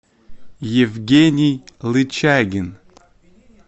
евгений лычагин